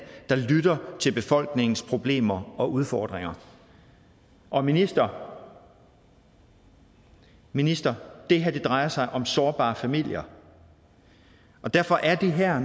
der lytter til befolkningens problemer og udfordringer og minister minister det her drejer sig om sårbare familier derfor er det her